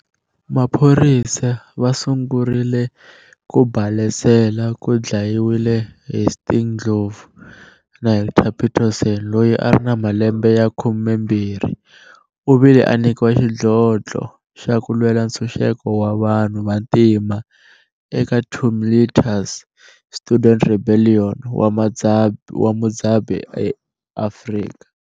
Maphorisa va sungurile ku balesela ku dlayiwile Hastings Ndlovu na Hector Pieterson loyi a ri na malembe ya khumembiri u vile a nikiwa xidlodlo xa ku lwela ntshuxeko wa vanhu va tima eka tumiltuos student rebellion wa mudzabi eAfrika.